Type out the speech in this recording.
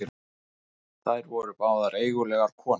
Þær voru báðar eigulegar konur.